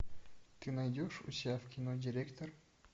ты найдешь у себя в кино директор